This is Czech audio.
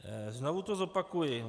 Znovu to zopakuji.